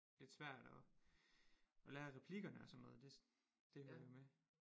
Lidt svært og og lære replikkerne og sådan noget det det hører jo med